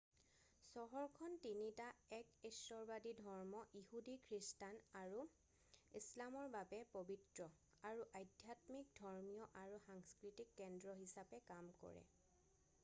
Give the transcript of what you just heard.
চহৰখন তিনিটা এক ঈশ্বৰবাদী ধৰ্ম ইহুদী খ্ৰীষ্টান আৰু ইছলামৰ বাবে পবিত্ৰ আৰু আধ্যাত্মিক ধৰ্মীয় আৰু সাংস্কৃতিক কেন্দ্ৰ হিচাপে কাম কৰে